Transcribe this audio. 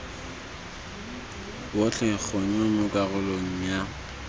botlhe gongwe mo karolong ya